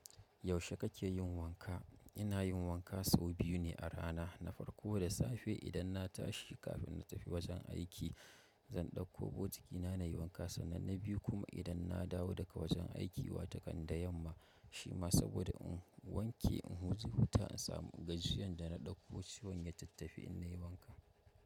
Yaushe kake yin wanka? Ina yin wanka sau biyu ne a rana. Na farko da safe idan na tashi kafin na tafi wajen aiki, zan ɗauko botikina nayi wanka sannan na biyu kuma idan na dawo daga wajen aiki watakan da yamma. Shima saboda in wanke, in huzi huta, in samu gajiyar da na ɗauko ciwon ya tattafi in nayi wanka.